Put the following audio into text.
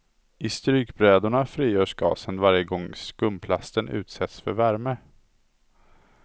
I strykbrädorna frigörs gasen varje gång skumplasten utsätts för värme.